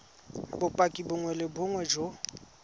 bopaki bongwe le bongwe jo